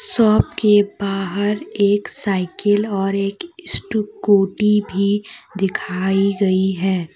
Shop के बाहर एक साइकिल और एक स्टूकुटी भी दिखाई गयी है।